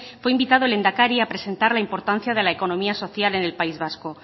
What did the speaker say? fue invitado el lehendakari a presentar la importancia de la economía social en el país vasco